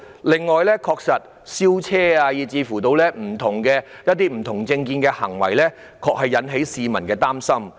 此外，燒車及某些持不同政見的人的行為，確實令市民感到擔心。